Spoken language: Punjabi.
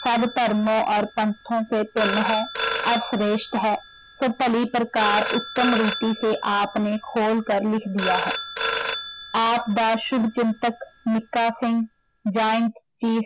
ਸਭ ਧਰਮੋਂ ਔਰ ਪੰਥੋਂ ਸੇ ਭਿੰਨ ਹੈ ਔਰ ਸ਼੍ਰੇਸ਼ਟ ਹੈ ਕਿ ਭਲੀ ਪ੍ਰਕਾਰ ਉੱਤਮ ਰੀਤੀ ਸੇ ਆਪ ਨੇ ਖੋਲ ਕਰ ਲਿਖ ਦੀਆ ਹੈ ਆਪ ਦਾ ਸ਼ੁੱਭ ਚਿੰਤਕ ਮੀਕਾ ਸਿੰਘ joint chief